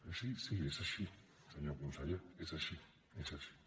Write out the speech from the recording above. així sí és així senyor conseller és així és així